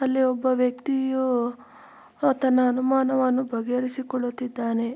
ಅಲ್ಲಿ ಒಬ್ಬ ವ್ಯಕ್ತಿಯು ತನ್ನ ಅನುಮಾನವನ್ನು ಬಗೆಹರಿಸಿಕೊಳ್ಳುತ್ತಿದ್ದಾನೆ.